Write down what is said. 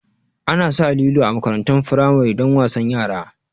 Ana sa lilo a makarantun firamari don wasan yara